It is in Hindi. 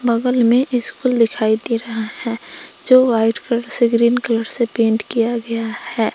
बगल में स्कूल दिखाई दे रहा है जो वाइट कलर से ग्रीन कलर से पेंट किया गया है।